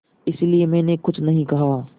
इसलिए मैंने कुछ नहीं कहा